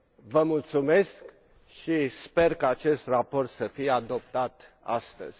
Vă mulțumesc și sper ca acest raport să fie adoptat astăzi.